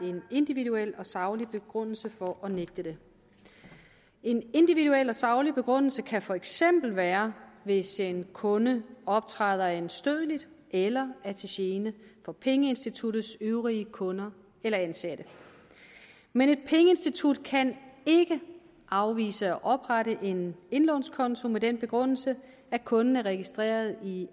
individuel og saglig begrundelse for at nægte det en individuel og saglig begrundelse kan for eksempel være hvis en kunde optræder anstødeligt eller er til gene for pengeinstituttets øvrige kunder eller ansatte men et pengeinstitut kan ikke afvise at oprette en indlånskonto med den begrundelse at kunden er registreret i